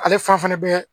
Ale fan fɛnɛ bɛ